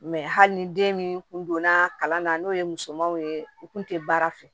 hali ni den min kun donna kalan na n'o ye musomaninw ye u kun tɛ baara fɛ